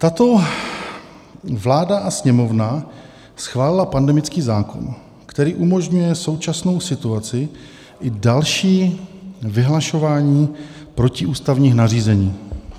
Tato vláda a Sněmovna schválila pandemický zákon, který umožňuje současnou situaci i další vyhlašování protiústavních nařízení.